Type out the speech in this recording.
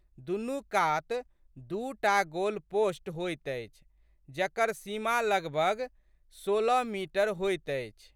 दुनू कात दू टा गोलपोस्ट होइत अछि जकर सीमा लगबग सोलह मीटर होइत अछि।